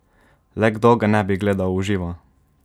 Le kdo ga ne bi gledal v živo?